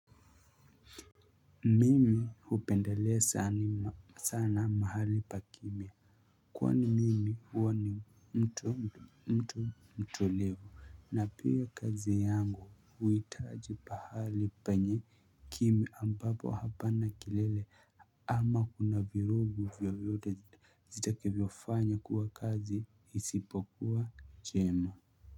Mimi hupendelea sana mahali pa kimya kwani mimi huwa ni mtu mtu mtulivu na pia kazi yangu huitaji pahali penye kimya ambapo hapana kilele ama kuna virugu vyoyote zita kevyofanya kuwa kazi isipokuwa jema.